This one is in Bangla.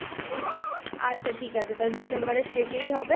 আচ্ছা ঠিক আছে তা December এর শেষেই হবে।